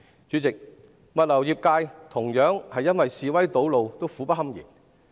主席，物流業界亦同樣因示威堵路而苦不堪言。